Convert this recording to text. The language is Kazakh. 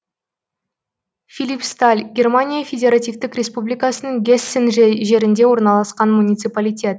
филипсталь германия федеративтік республикасының гессен жерінде орналасқан муниципалитет